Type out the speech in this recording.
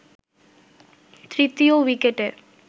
তৃতীয় উইকেটে